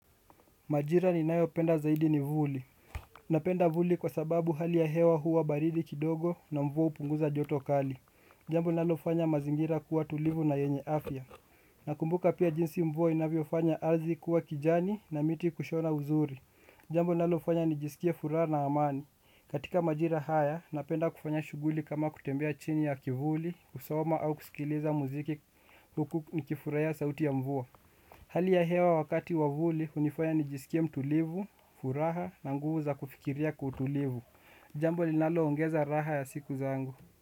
Majira ninayo penda zaidi ni vuli. Napenda vuli kwa sababu hali ya hewa huwa baridi kidogo na mvua hupunguza joto kali. Jambo linalofanya mazingira kuwa tulivu na yenye afya. Nakumbuka pia jinsi mvua inavyofanya ardhi kuwa kijani na miti kushona uzuri. Jambo linalofanya nijisikie furaha na amani. Katika majira haya, napenda kufanya shughuli kama kutembea chini ya kivuli, kusoma au kusikiliza muziki huku nikifurahia sauti ya mvua. Hali ya hewa wakati wavuli, unifanya nijisikie mtulivu, furaha na nguvu za kufikiria kutulivu. Jambo linalo ongeza raha ya siku zangu.